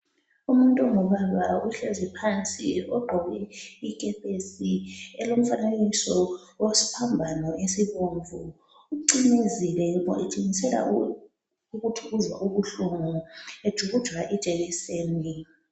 Umuntu ongubaba uhlezi phansi ogqoki ikepesi elomfanekiso wesiphambano esibomvu, ucimezile etshengisela ukuthi uzwa ubuhlungu ejujwa ijekiseni.